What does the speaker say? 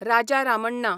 Raja Ramanna